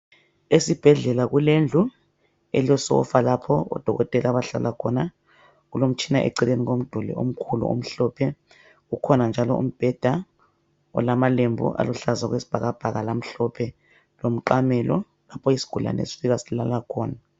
Esibhedlela kulendlu elesofa lapho odokotela abahlala khona. Kulomtshina eceleni kwemduli omkhulu omhlophe. Kukhona njalo umbheda olamalembu aluhlaza okwesibhakabhaka lamhlophe, lomqamelo lapho isigulane sifika silala khona.